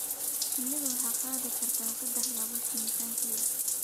Shinnidu waxay qaadi kartaa saddex laab miisaankeeda.